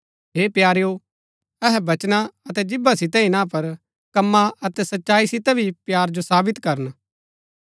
हे प्यारेओ अहै वचना अतै जीभा सितै ही ना पर कमां अतै सच्चाई सितै भी प्‍यार जो साबित करन